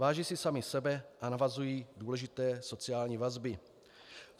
Váží si sami sebe a navazují důležité sociální vazby.